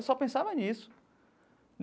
Eu só pensava nisso.